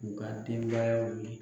U ka denbaya wuli.